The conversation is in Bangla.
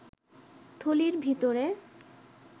থলির ভিতরে